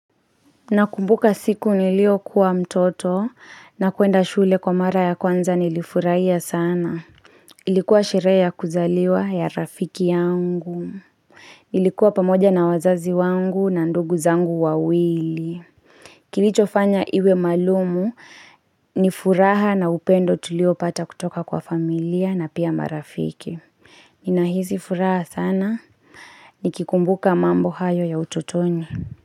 Nakumbuka siku niliyokuwa mtoto na kwenda shule kwa mara ya kwanza nilifurahia sana. Ilikuwa sherehe ya kuzaliwa ya rafiki yangu. Nilikuwa pamoja na wazazi wangu na ndugu zangu wawili. Kilichofanya iwe maalumu ni furaha na upendo tuliopata kutoka kwa familia na pia marafiki. Ninahisi furaha sana. Nikikumbuka mambo hayo ya utotoni.